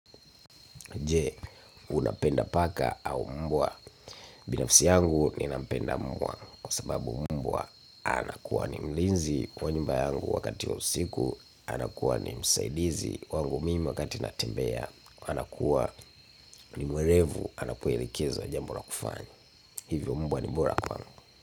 Je unapenda paka au mbwa binafsi yangu nampenda mbwa kwa sababu mbwa anakuwa ni mlinzi kwa nyumba yangu wakati wa usiku. Anakuwa ni msaidizi wangu mimi wakati natembea. Anakuwa ni mwerevu anapoelekezwa jambo la kufanya. Hivyo mbwa ni bora kwangu.